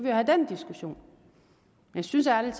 jo have den diskussion jeg synes ærlig